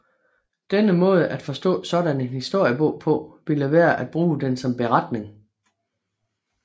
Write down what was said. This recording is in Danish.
Denne måde at forstå sådan en historiebog på ville være at bruge den som beretning